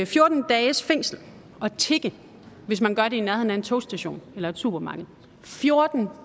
fjorten dages fængsel at tigge hvis man gør det i nærheden af en togstation eller et supermarked fjorten